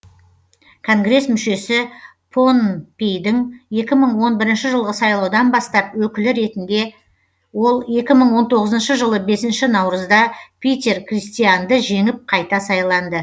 конгресс мүшесі поннпейдің екі мың он бірінші жылғы сайлаудан бастап өкілі ретінде ол екі мың он тоғызыншы жылы бесінші наурызда питер кристианды жеңіп қайта сайланды